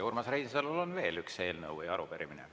Urmas Reinsalul on veel üks eelnõu või arupärimine.